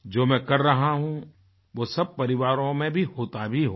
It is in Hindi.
जो मैं कर रहा हूँ वो सब परिवारों में भी होता भी होगा